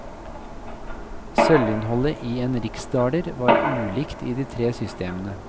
Sølvinnholdet i en riksdaler var ulikt i de tre systemene.